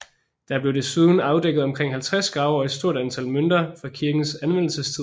Der blev desuden afdækket omkring 50 grave og et stort antal mønter fra kirkens anvendelsestid